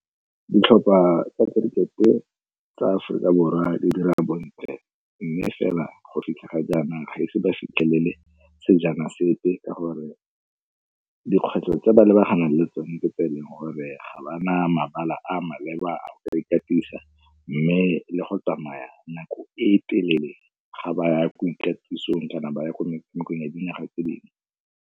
Ditlhopha tsa kerikete tsa Aforika Borwa di dira bontle mme fela go fitlha ga jaana ga ise ba fitlhelele sejana sepe, ka gore dikgwetlho tse ba lebaganeng le tsone ke tse e leng gore ga ba na mabala a maleba a go ka ikatisa, mme le go tsamaya nako e telele ga ba ya ko ikatisong kana ba ya kwa metshamekong ya dinaga tse dingwe.